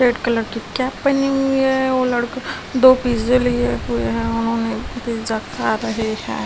Red colour की cap पहनी हुई है वो लड़के दो पिज़्ज़े लिए हुए हैं उन्होंने पिज़्ज़ा खा रहे हैं।